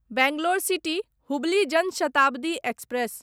Bangalore city Hubli Jan Shatabdi express